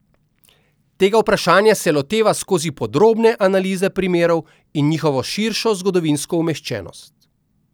Tega vprašanja se loteva skozi podrobne analize primerov in njihovo širšo zgodovinsko umeščenost.